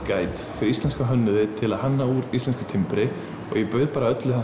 Guide fyrir íslenska hönnuði til að hanna úr íslensku timbri og ég bauð bara öllu